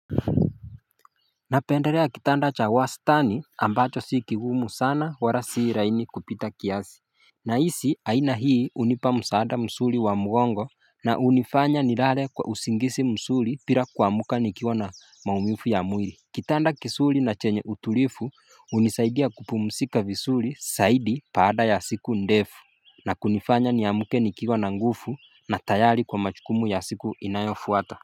Napenderea kitanda cha wastani ambacho si kigumu sana wara sii laini kupita kiasi Nahisi aina hii unipa msaada msuri wa mgongo na unifanya ni lale kwa usingisi msuri pira kuamuka nikiwa na maumifu ya mwiri Kitanda kisuri na chenye utulifu unisaidia kupumusika visuri saidi paada ya siku ndefu na kunifanya niamuke nikiwa na ngufu na tayari kwa machukumu ya siku inayofuata.